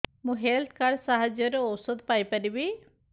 ମୁଁ health card ସାହାଯ୍ୟରେ ଔଷଧ ପାଇ ପାରିବି